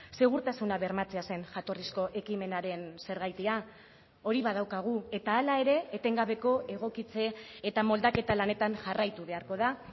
segurtasuna bermatzea zen jatorrizko ekimenaren zergatia hori badaukagu eta hala ere etengabeko egokitze eta moldaketa lanetan jarraitu beharko da